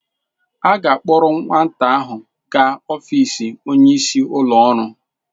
A ga-akpọrọ nwata ahụ gaa ọfiisi onyeisi ụlọ ọrụ.